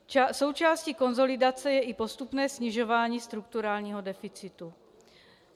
Součástí konsolidace je i postupné snižování strukturálního deficitu.